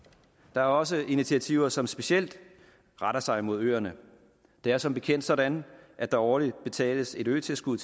der er også initiativer som specielt retter sig mod ørerne det er som bekendt sådan at der årligt betales et øtilskud